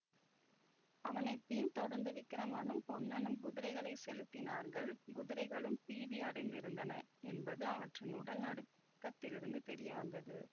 அவனை பின் தொடர்ந்து விக்கிரமனும் பொன்னனும் குதிரைகளை செலுத்தினார்கள் குதிரைகளும் பீதி அடைந்திருந்தன என்பது அவற்றின் உடல் நடுக்கத்திலிருந்து தெரிய வந்தது